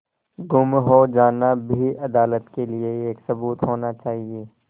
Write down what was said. गुम हो जाना भी अदालत के लिये एक सबूत होना चाहिए